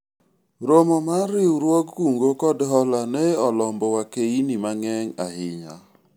romo mar riwruog kungo kod hola ne olombo wakeini mang'eny ahinya